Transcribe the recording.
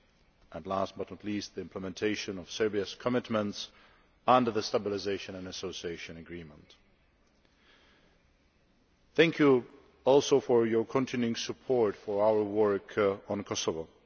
and, last but not least, to the implementation of Serbia's commitments under the Stabilisation and Association Agreement. Thank you also for your continuing support for our work on Kosovo.